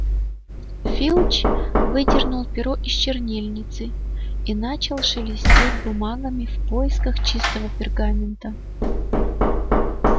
филч выдернул перо из чернильницы и начал шелестеть бумагами в поисках чистого пергамента